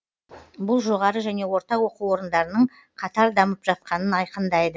бұл жоғары және орта оқу орындарының қатар дамып жатқанын айқындайды